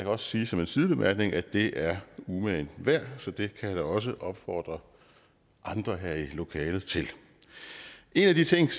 også sige som en sidebemærkning at det er umagen værd så det kan jeg også opfordre andre her i lokalet til en af de ting